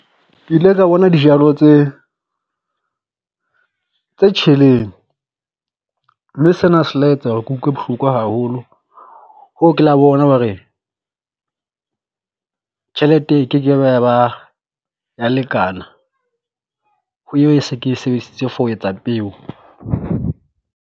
Ke ile ka bona dijalo tse tse tjheleng, mme sena se la etsa hore ke utlwe bohloko haholo ho ke la bona hore tjhelete e kekebe ya ba ya lekana ho eo se ke e sebedisitse for ho etsa peo.